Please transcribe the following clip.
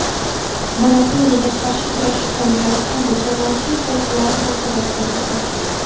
Monopoliyaga qarshi kurashish qo‘mitasi hamda jamoatchilik vakillari munosabat bildirdi.